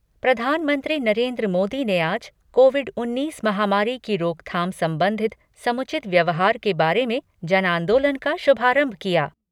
प्रधानमंत्री नरेन्द्र मोदी ने आज कोविड उन्नीस महामारी की रोकथाम संबंधित समुचित व्यवहार के बारे में जन आंदोलन का शुभारंभ किया।